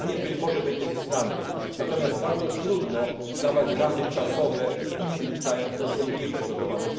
Podobnie być może będzie z Islandią, natomiast bardzo trudno wyznaczać ramy czasowe innym krajom, które są słabiej przygotowane.